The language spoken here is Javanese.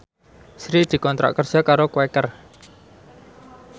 Sri dikontrak kerja karo Quaker